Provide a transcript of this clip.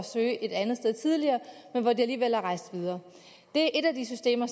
søge et andet sted tidligere men hvor de alligevel er rejst videre det er et af de systemer